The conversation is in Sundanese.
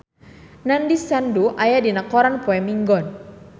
Nandish Sandhu aya dina koran poe Minggon